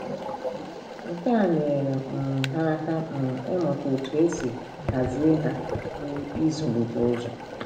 Nke a nyeere um ha aka um ịmụta otú e si hazie ha na ịzụlite ụzọ.